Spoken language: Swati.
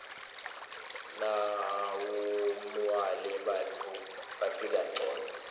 nawumuale bantfu baphila ngcono